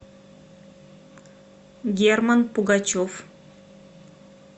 герман пугачев